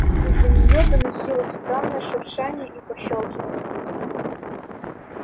из-за неё доносилось странное шуршание и пощёлкивание